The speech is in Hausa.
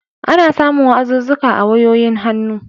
Ana samun wa'azuzzuka a wayoyin hannu.